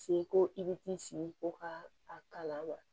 Se ko i bɛ t'i sigi ko ka a kala wa